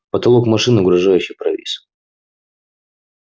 потолок машины угрожающе провис